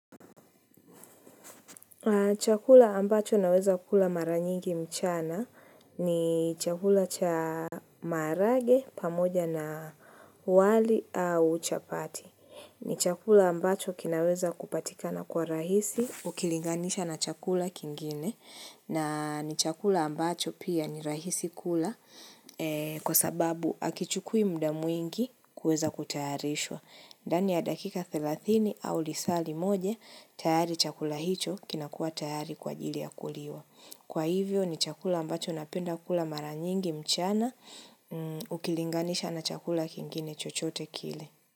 Chakula ambacho naweza kula maranyigi mchana ni chakula cha maharage pamoja na wali au chapati. Ni chakula ambacho kinaweza kupatika na kwa urahisi ukilinganisha na chakula kingine. Na ni chakula ambacho pia ni rahisi kula kwa sababu hakichukui muda mwingi kuweza kutayarishwa. Ndaniya dakika 30 au lisaali moja, tayari chakula hicho kinakua tayari kwa ajili ya kuliwa. Kwa hivyo ni chakula ambacho napenda kula maranyingi mchana ukilinganisha na chakula kingine chochote kile.